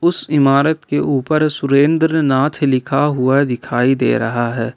उस इमारत के ऊपर सुरेंद्रनाथ लिखा हुआ दिखाई दे रहा है।